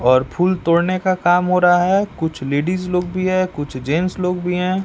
और फूल तोड़ने का काम हो रहा है कुछ लेडिस लोग भी है कुछ जेंट्स लोग भी हैं।